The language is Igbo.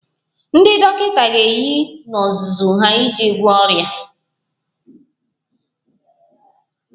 Ndị dọkịta ga-eyi n'ozuzu ha iji gwọọ ọrịa